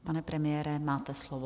Pane premiére, máte slovo.